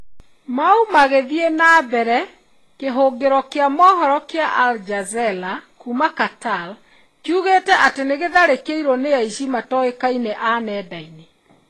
Mau magĩthiĩ na mbere , kĩhũngĩro kĩa mohoro kĩa Al Jazeera kuuma Qatar, kĩugĩte atĩ nĩ gĩatharĩkĩrũo nĩ aici matoĩkaine a nenda-inĩ.